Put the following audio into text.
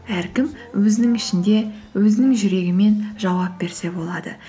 әркім өзінің ішінде өзінің жүрегімен жауап берсе болады